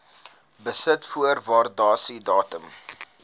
besit voor waardasiedatum